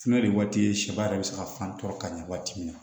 Fiɲɛ de ye waati ye sɛba yɛrɛ bɛ se ka fan tɔ ka ɲɛ waati min na